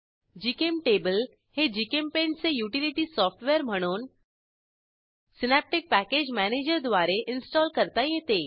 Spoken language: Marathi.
जीचेम्टेबल हे जीचेम्पेंट चे युटिलिटी सॉफ्टवेअर म्हणून सिनॅप्टिक पॅकेज मॅनेजर द्वारे इन्स्टॉल करता येते